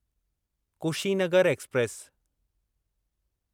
Kushinagar express